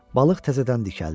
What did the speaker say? Balıq təzədən dikəldi.